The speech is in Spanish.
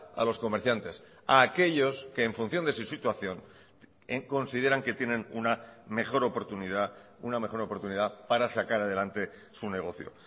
a los comerciantes a aquellos que en función de su situación consideran que tienen una mejor oportunidad una mejor oportunidad para sacar adelante su negocio